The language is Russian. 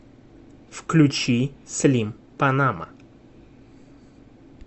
включи слим панама